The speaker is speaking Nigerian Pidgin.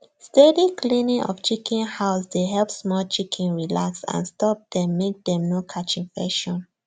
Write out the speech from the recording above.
steady cleaning of chicken house dey help small chicken relax and stop dem make dem no catch infection